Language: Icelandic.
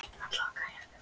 En hver eru skilaboðin?